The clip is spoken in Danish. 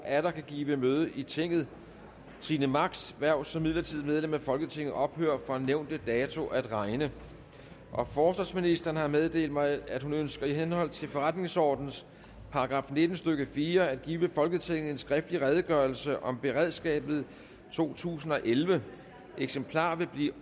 atter kan give møde i tinget trine machs hverv som midlertidigt medlem af folketinget ophører fra nævnte dato at regne forsvarsministeren har meddelt mig at hun ønsker i henhold til forretningsordenens § nitten stykke fire at give folketinget en skriftlig redegørelse om beredskabet totusinde og ellevte eksemplarer vil blive